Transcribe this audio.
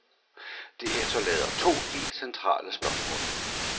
Det efterlader to helt centrale spørgsmål.